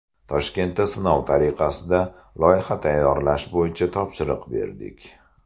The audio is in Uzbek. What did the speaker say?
Toshkentda sinov tariqasida loyiha tayyorlash bo‘yicha topshiriq berdik.